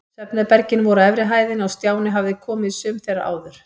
Svefnherbergin voru á efri hæðinni og Stjáni hafði komið í sum þeirra áður.